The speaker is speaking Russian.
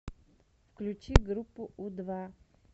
включи группу у два